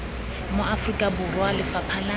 mo aforika borwa lefapha la